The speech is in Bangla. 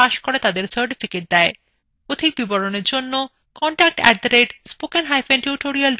অধিক বিবরণের জন্য contact @spokentutorial org তে ইমেল করুন